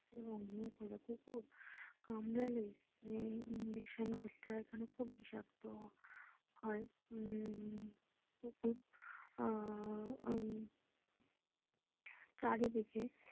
কোনো বড়ো কুকুর কামড়ালে ইঞ্জেকশন করতে হয় কেন খুব বিষাক্ত হয় উম কুকুর আহ উম চারিদিকে।